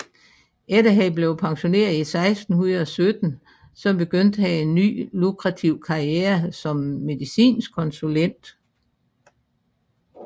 Efter han blev pensioneret i 1617 begyndte han en ny lukrativ karriere som medicinsk konsulent